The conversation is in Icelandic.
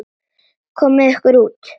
Komiði ykkur út.